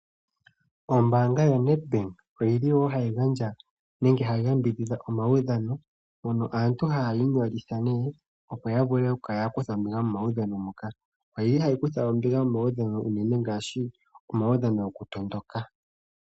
Ombaanga yoNedbank oyi li wo hayi gandja nenge hayi yambidhidha omaudhano, mono aantu haya inyolitha, opo ya vule okukala ya kutha ombinga momaudhano muka. Oyi li hayi kutha ombinga momaudhano ngaashi omaudhano gokutondoka.